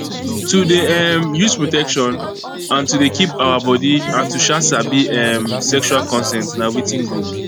to dey um use protection and to dey keep our body and to um sabi um sexual consent na watin good